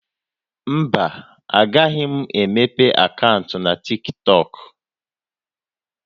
Mba, agaghị m emepe akaụntụ na TikTọk